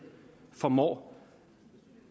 formår